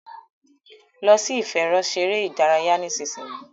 lọ sì ìfẹ̀rọṣeré ìdárayá nísìsiyìí!